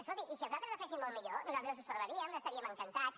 escolti i si els altres la fessin molt millor nosaltres ho celebraríem n’estaríem encantats